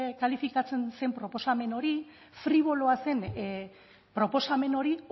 kalifikatzen zen proposamen hori friboloa zen proposamen hori